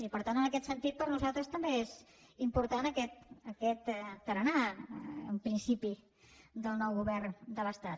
i per tant en aquest sentit per nosaltres també és important aquest tarannà en principi del nou govern de l’estat